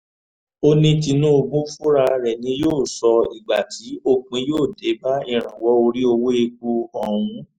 ó ní tinúbù fúnra rẹ̀ ni yóò sọ ìgbà tí òpin yóò dé bá ìrànwọ́ orí owó epo ọ̀hún